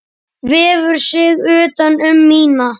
Vefur sig utan um mína.